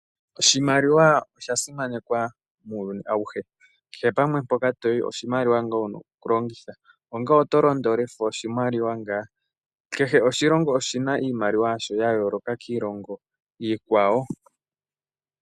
Oshimaliwa oshasimanekwamuuyuni awushe keshe pamwe mpoka toyi oshimaliwa ngaa wuna okulongitha onga ngele oto londo olefa oshimaliwa oshimaliwa ngaa. Keshe oshilongo oshina iimaliwa mbi yayooloka kiikwawo.